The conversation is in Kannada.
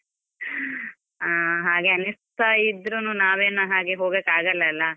ಹಾ ಹಾಗೆ ಅನಿಸ್ತಾ ಇದ್ರುನು, ನಾವೇನು ಹಾಗೆ ಹೋಗೋಕ್ ಆಗಲ್ಲ ಅಲ?